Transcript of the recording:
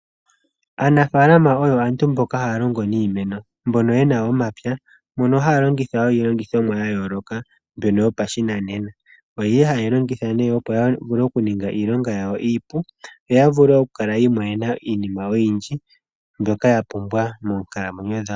Aanafalama oyo aantu mboka haya longo niimeno. Mbono yena omapya mono haya longitha wo iilongithomwa ya yoloka mbyono yopashinanena oyili ha yeyi longitha opo ya ninge iilonga yawo iipu yo ya vule oku kala yi imonena iinima oyindji mbyoka ya pumbwa monkalamwenyo dhawo.